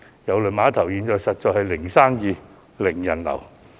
郵輪碼頭現時實在是"零生意"、"零人流"。